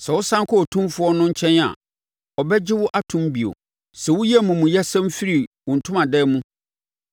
Sɛ wosane kɔ Otumfoɔ no nkyɛn a, ɔbɛgye wo atom bio: sɛ woyi amumuyɛsɛm firi wo ntomadan mu